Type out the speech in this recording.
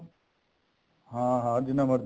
ਹਾਂ ਹਾਂ ਜਿੰਨਾ ਮਰਜ਼ੀ